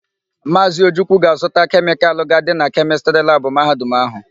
Maazị Ojukwu ga-azụta kemịkalụ ga-adị na kemịstrị labụ Mahadum áhụ̀.